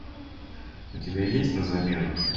у тебя есть на замену